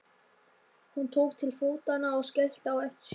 Hún tók til fótanna og skellti á eftir sér.